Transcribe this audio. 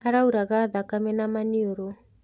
Arauraga thakame na maniũrũ.